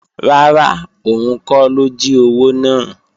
Rárá, òun kọ́ ló jí owó náà